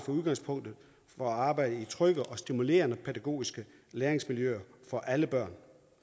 i udgangspunktet arbejder i trygge og stimulerende pædagogiske læringsmiljøer for alle børn